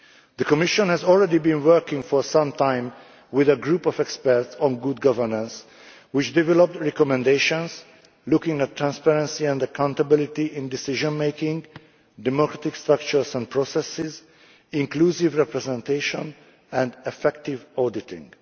The Commission has already been working for some time with a group of experts on good governance, which developed recommendations looking at transparency and accountability in decision making, democratic structures and processes, inclusive representation and effective auditing.